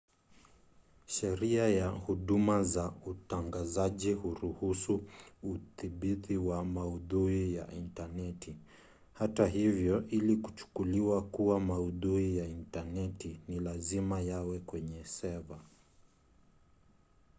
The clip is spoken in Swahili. sheria ya huduma za utangazaji huruhusu udhibiti wa maudhui ya intaneti hata hivyo ili kuchukuliwa kuwa maudhui ya intaneti ni lazima yawe kwenye seva